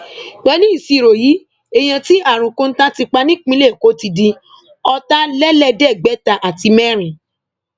pẹlú ìṣirò yìí èèyàn tí àrùn kọńtà ti pa nípìnlẹ èkó ti di ọtàlélẹẹẹdẹgbẹta àti mẹrin